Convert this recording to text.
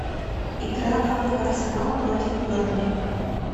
игра апл арсенал против бернли